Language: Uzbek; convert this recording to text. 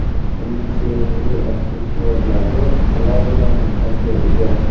Uning sevimli aksessuarlari alohida maqomga ega.